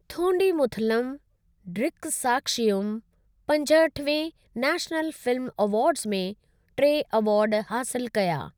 थोंडिमुथलम ड्रिकसाक्शीयुम पंजहठिवें national film awards में टे एवार्ड हासिलु कया।